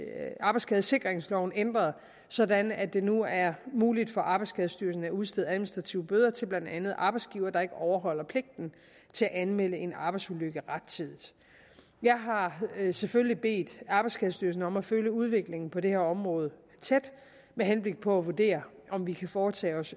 er arbejdsskadesikringsloven ændret sådan at det nu er muligt for arbejdsskadestyrelsen at udstede administrative bøder til blandt andet arbejdsgivere der ikke overholder pligten til at anmelde en arbejdsulykke rettidigt jeg har selvfølgelig bedt arbejdsskadestyrelsen om at følge udviklingen på det her område tæt med henblik på at vurdere om vi kan foretage